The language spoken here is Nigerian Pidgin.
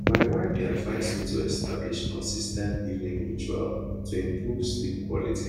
my wife dey advise me to establish consis ten t evening ritual to improve sleep quality